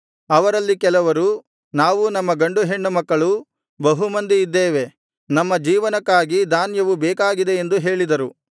ಅವರಲ್ಲಿ ಕೆಲವರು ನಾವೂ ನಮ್ಮ ಗಂಡು ಹೆಣ್ಣು ಮಕ್ಕಳೂ ಬಹು ಮಂದಿ ಇದ್ದೇವೆ ನಮ್ಮ ಜೀವನಕ್ಕಾಗಿ ಧಾನ್ಯವು ಬೇಕಾಗಿದೆ ಎಂದು ಹೇಳಿದರು